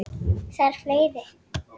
Þarf fleiri?